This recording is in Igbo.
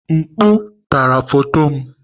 Mkpu tara foto m.